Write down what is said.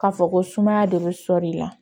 K'a fɔ ko sumaya de bɛ sɔ de la